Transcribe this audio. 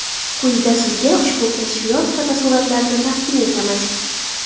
Quyida sizga ushbu kashfiyot fotosuratlarini taqdim etamiz.